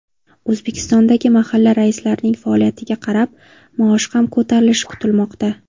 O‘zbekistondagi mahalla raislarining faoliyatiga qarab, maoshi ham ko‘tarilishi kutilmoqda.